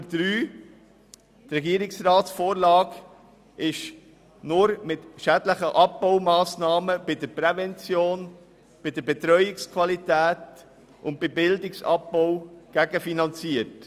: Die Regierungsvorlage ist nur gegenfinanziert, wenn schädliche Abbaumassnahmen bei der Prävention, der Betreuungsqualität und der Bildung vorgenommen werden.